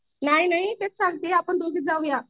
नाही नाही तेच संगतीये आपण दोघीच जाऊया.